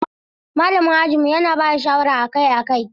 Malamin ajinmu yana ba da shawara akai-akai.